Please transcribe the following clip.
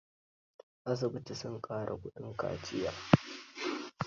Asibiti sun ƙara kuɗin kaciyar